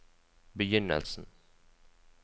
begynnelsen